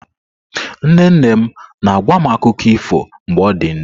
Nne nne m na-agwa m akụkọ ifo mgbe ọ dị ndụ.